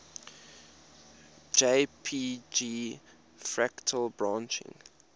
jpg fractal branching